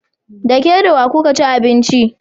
Da ke da wa kuka ci abincin?